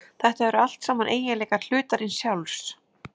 Þetta eru allt saman eiginleikar hlutarins sjálfs.